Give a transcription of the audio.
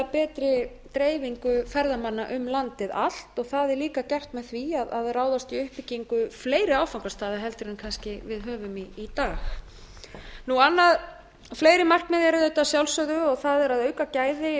betri dreifingu ferðamanna um landið allt það er líka gert með því að ráðast í uppbyggingu fleiri áfangastaða heldur en kannski við höfum í dag fleiri markmið eru auðvitað að sjálfsögðu það er að auka gæði